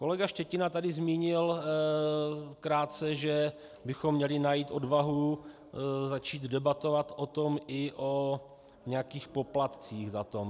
Kolega Štětina tady zmínil krátce, že bychom měli najít odvahu začít debatovat o tom, i o nějakých poplatcích za to.